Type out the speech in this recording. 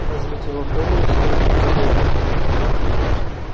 возьмите его в дом и устройте поудобнее